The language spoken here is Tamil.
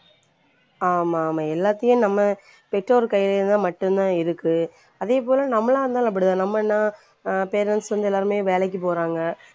ஆமா ஆமா எல்லாத்தையும் நம்ம பெற்றோர் கையில இருந்தா மட்டுந்தான் இருக்கு. அதே போல நம்மளா இருந்தாலும் அப்டிதான். நம்ம என்ன அஹ் parents வந்து எல்லாருமே வேலைக்கு போறாங்க